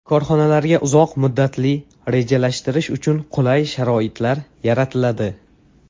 Korxonalarga uzoq muddatli rejalashtirish uchun qulay sharoitlar yaratiladi.